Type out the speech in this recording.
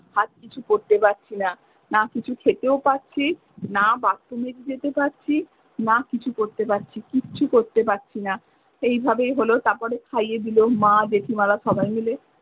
আর কিছু করতে পারছি না না কিছু খেতেও পাচ্ছি না বাথরুমে যেতে পাচ্ছি না কিছু করতে পাচ্ছি কিচ্ছু করতে পারছি না সেই ভাবেই হলো মা জেঠিমারা সবাই মিলে।